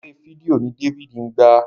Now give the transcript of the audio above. Àwọn eré fídíò ní David ngba.